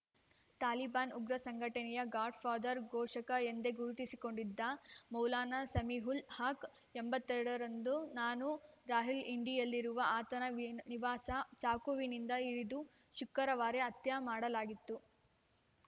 ತಾಲಿಬಾನ್‌ ಉಗ್ರ ಸಂಘಟನೆಯ godfather ಪೋಷಕ ಎಂದೇ ಗುರುತಿಸಿಕೊಂಡಿದ್ದ ಮೌಲಾನಾ ಸಮೀವುಲ್‌ ಹಕ್‌ ಎಂಬತ್ತ್ ಎರಡರಂದು ನನ್ನು ರಾವಲ್ಪಿಂಡಿಯಲ್ಲಿರುವ ಆತನ ನಿವಾಸದಲ್ಲಿ ಚಾಕುವಿನಿಂದ ಇರಿದು ಶುಕ್ರವಾರ ಹತ್ಯೆಮಾಡಲಾಗಿದೆ